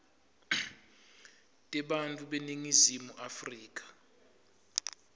tebantfu beningizimu afrika